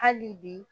Hali bi